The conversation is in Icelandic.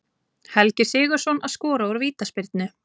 Helgi Sigurðsson að skora úr vítaspyrnu.